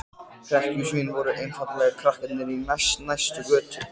Hrekkjusvín voru einfaldlega krakkarnir í næst næstu götu.